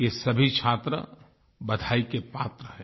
ये सभी छात्र बधाई के पात्र हैं